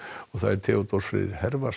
Theodór Freyr